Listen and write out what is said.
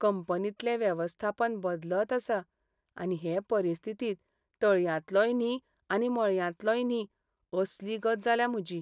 कंपनींतले वेवस्थापन बदलत आसा, आनी हे परिस्थितींत तळयांतलोय न्ही आनी मळयांतलोय न्ही असली गत जाल्या म्हजी.